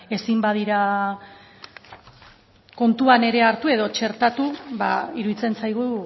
ezin badira kontuan ere hartu edo txertatu iruditzen zaigu